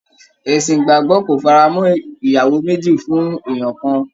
Ẹ̀sìn ìgbàgbọ́ kò fara mọ́ ìyàwó méjì fún èèyàn kan